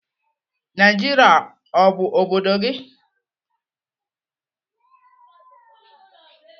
Naijiria ọ bụ obodo gị?